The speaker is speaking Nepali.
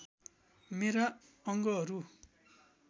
मेरा अङ्गहरू